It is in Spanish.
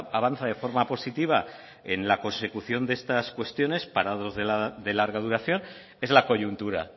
avanza de forma positiva en la consecución de estas cuestiones parados de larga duración es la coyuntura